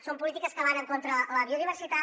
són polítiques que van en contra de la biodiversitat